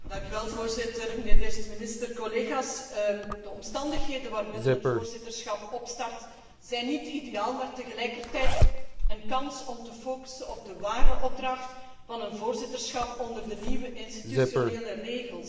Voorzitter, mijnheer beste minister, collega's, de omstandigheden waarin het voorzitterschap opstart, zijn niet ideaal, maar tegelijkertijd een kans om te focussen op de ware opdracht van een voorzitterschap onder de nieuwe institutionele regels.